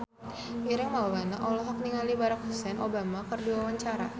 Ireng Maulana olohok ningali Barack Hussein Obama keur diwawancara